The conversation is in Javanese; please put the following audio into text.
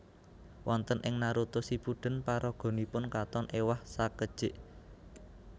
Wonten ing Naruto Shippuden paraganipun katon ewah sakedjik